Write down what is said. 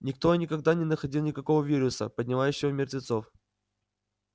никто и никогда не находил никакого вируса поднимающего мертвецов